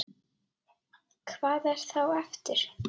Hvað er þá eftir?